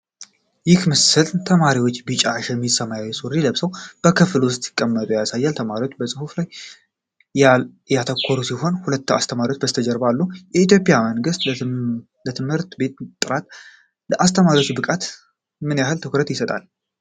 ይህ ምስል ተማሪዎች ቢጫ ሸሚዝና ሰማያዊ ሱሪ ለብሰው በክፍል ውስጥ ሲቀመጡ ያሳያል። ተማሪዎቹ በጽሑፍ ሥራ ላይ ያተኮሩ ሲሆን፣ ሁለት አስተማሪዎች ከበስተጀርባ አሉ። የኢትዮጵያ መንግሥት ለትምህርት ጥራትና ለአስተማሪዎች ብቃት ምን ያህል ትኩረት ይሰጣል?